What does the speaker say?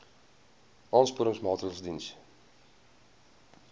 aansporingsmaatre ls diens